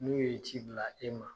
N'u ye ci bila e ma